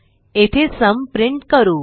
येथे सुम प्रिंट करू